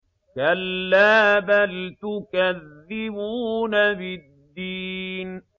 كَلَّا بَلْ تُكَذِّبُونَ بِالدِّينِ